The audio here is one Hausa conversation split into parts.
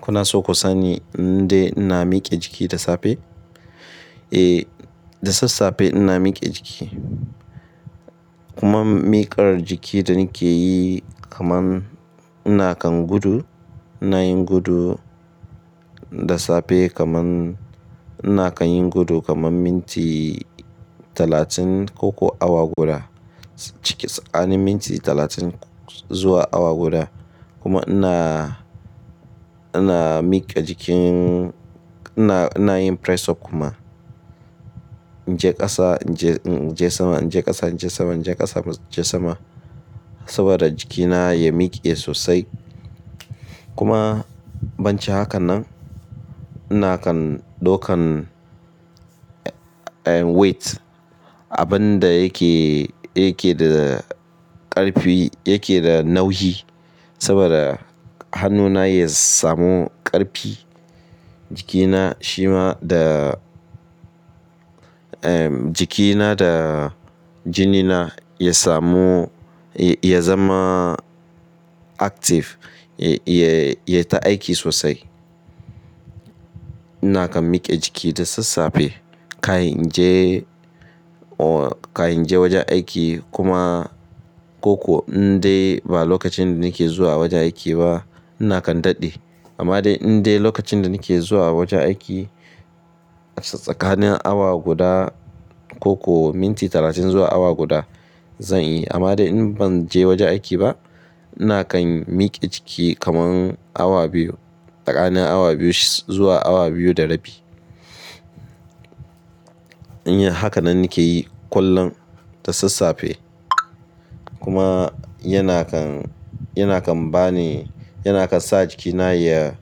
Kuna so ku sani in dai ina miƙe jiki da safe? Eh, da sassafe ina miƙe jiki. Kuma miƙar jiki da nake yi kaman ina kan gudu, ina yin gudu da safe kaman ina kan yin gudu kaman minti talatin ko kuwa awa guda, cikin tsakanin minti talatin zuwa awa guda. Kuma ina, ina miƙe jikin, ina, ina yin press up kuma. In je ƙasa, in je sama, in je ƙasa, in je sama, in je ƙasa, in je sama saboda jikina ya miƙe sosai. Kuma bancin hakan nan ina kan daukan eh, weight. Abin da yake, yake da ƙarfi, yake da nauyi saboda hannuna ya samu ƙarfi. Jikina shima da, eh, jikina da jinina ya samu, ya zama active, ya, ya, yayi ta aiki sosai. Ina kan miƙe jiki da sassafe. Kan in je, oh, kan in je wajen aiki kuma ko kuwa in dai ba lokacin da nake zuwa wajen aiki ba ina kan daɗe. Amma dai inda lokacin da nake zuwa wajen aiki a tsakanin awa guda ko kuwa minti talatin zuwa awa guda zan iya. Amma dai in ban je wajen aiki ba ina kan miƙe jiki kaman awa biyu, tsakanin awa biyu zuwa awa biyu da rabi. In yi haka nan nake yi kullum da sassafe kuma yana kan, yana kan ba ni, yana kan sa jikina ya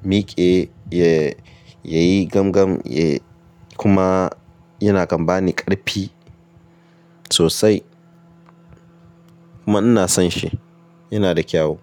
miƙe, ya, ya yi gamgam, ya, kuma yana kan ba ni ƙarfi sosai. Kuma ina son shi, yana da kyau.